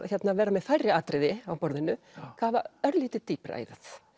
vera með færri atriði á borðinu kafa örlítið dýpra í